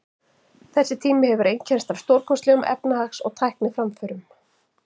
Þessi tími hefur einkennst af stórkostlegum efnahags- og tækniframförum.